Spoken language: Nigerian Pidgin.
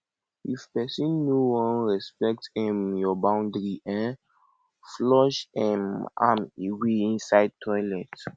if pesin no wan respect um yur boundary um flush um am away inside toilet